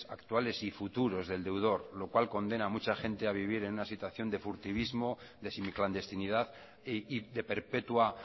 actuales y futuros del deudor lo cual condena a mucha gente a vivir en una situación de furtivismo de semiclandestinidad y de perpetua